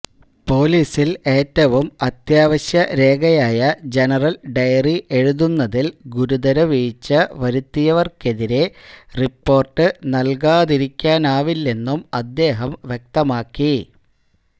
പോലീസിൽ ഏറ്റവും അത്യാവശ്യരേഖയായ ജനറൽ ഡയറി എഴുതുന്നതിൽ ഗുരുതരവീഴ്ച വരുത്തിയവർക്കെതിരേ റിപ്പോർട്ട് നൽകാതിരിക്കാനാവില്ലെന്നും അദ്ദേഹം വ്യക്തമാക്കി